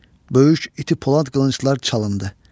Böyük iti polad qılınclar çalındı.